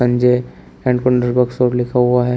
Sanjay air conditioner works लिखा हुआ है।